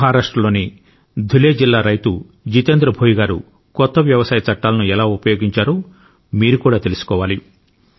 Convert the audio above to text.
మహారాష్ట్రలోని ధులే జిల్లా రైతు జితేంద్ర భోయి గారుకొత్త వ్యవసాయ చట్టాలను ఎలా ఉపయోగించారో కూడా మీరు తెలుసుకోవాలి